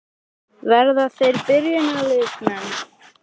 Verða þeir byrjunarliðsmenn?